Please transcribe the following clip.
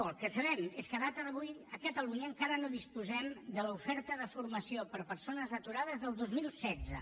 el que sabem és que a data d’avui a catalunya encara no disposem de l’oferta de formació per a persones aturades del dos mil setze